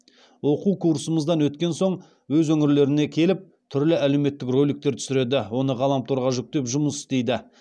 оқу курсымыздан өткен соң өз өңірлеріне келіп түрлі әлеуметтік роликтер түсіреді оны ғаламторға жүктеп жұмыс істейді